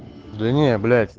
да не блять